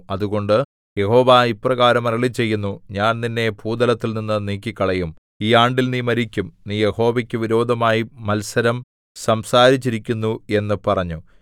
അതുകൊണ്ട് യഹോവ ഇപ്രകാരം അരുളിച്ചെയ്യുന്നു ഞാൻ നിന്നെ ഭൂതലത്തിൽനിന്നു നീക്കിക്കളയും ഈ ആണ്ടിൽ നീ മരിക്കും നീ യഹോവയ്ക്കു വിരോധമായി മത്സരം സംസാരിച്ചിരിക്കുന്നു എന്ന് പറഞ്ഞു